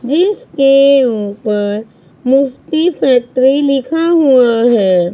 जिसके ऊपर मुफ्ती पत्री लिखा हुआ है।